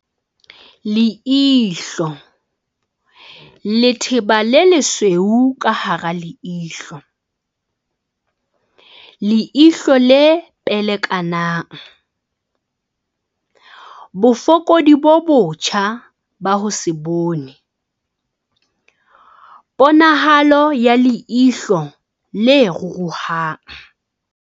Leihlo, letheba le lesweu ka hara leihlo, leihlo le pelekanang, bofokodi bo botjha ba ho se bone, ponahalo ya leihlo le ruruhang.